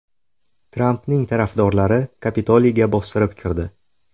Trampning tarafdorlari Kapitoliyga bostirib kirdi.